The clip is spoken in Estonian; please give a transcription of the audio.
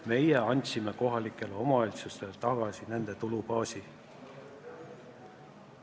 Meie andsime kohalikele omavalitsustele nende tulubaasi tagasi.